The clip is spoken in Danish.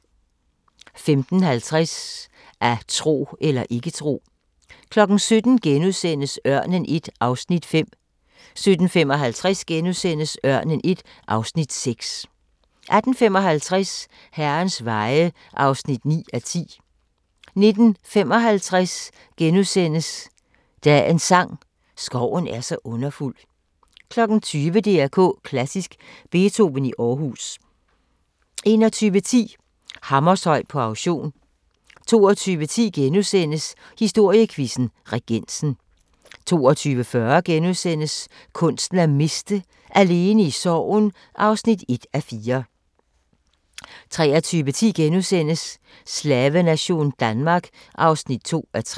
15:50: At tro eller ikke tro 17:00: Ørnen I (Afs. 5)* 17:55: Ørnen I (Afs. 6)* 18:55: Herrens veje (9:10) 19:55: Dagens sang: Skoven er så underfuld * 20:00: DR K Klassisk: Beethoven i Aarhus 21:10: Hammershøi på auktion 22:10: Historiequizzen: Regensen * 22:40: Kunsten at miste: Alene i sorgen (1:4)* 23:10: Slavenation Danmark (2:3)*